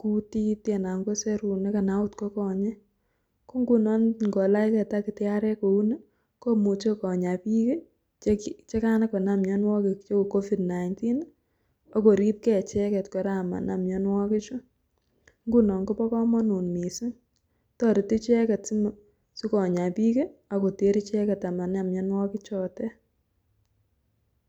kutit tii anan ko serunek anan ot ko konyek ko nguno ingolach gee takitariek kouni komuche konyaa bik kii chekakonam mionwokik cheu COVID-19 ak korib gee Koraa icheket amanam mionwokik chuu ngunon Kobo komonut missing toreti icheket sikonyaa bik kii ak kotet icheket amam mionwokik chotet.